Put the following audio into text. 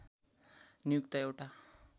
नियुक्त एउटा